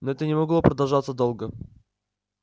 но это не могло продолжаться долго